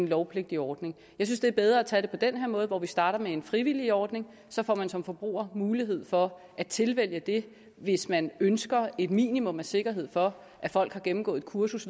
lovpligtig ordning jeg synes det er bedre at tage det på den her måde hvor vi starter med en frivillig ordning så får man som forbruger mulighed for at tilvælge det hvis man ønsker et minimum af sikkerhed for at folk har gennemgået et kursus